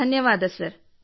ಧನ್ಯವಾದ ಸರ್